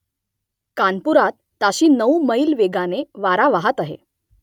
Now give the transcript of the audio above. कानपुरात ताशी नऊ मैल वेगाने वारा वाहत आहे